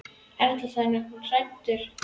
Erla: Þannig að hann er hræddur?